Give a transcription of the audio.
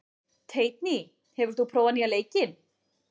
Teitný, hefur þú prófað nýja leikinn?